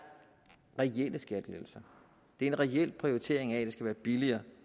reelle skattelettelser det er en reel prioritering af at det skal være billigere